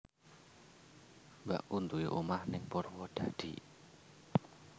Mbakku nduwe omah ning Purwodadi